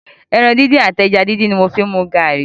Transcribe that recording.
Ẹ̀ran díndín àti ẹja díndín ni mò ń fi mu garri.